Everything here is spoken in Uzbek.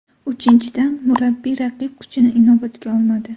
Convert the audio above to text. Uchinchidan, murabbiy raqib kuchini inobatga olmadi.